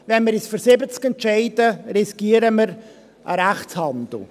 Wenn wir uns für 70 entscheiden, riskieren wir einen Rechtshandel.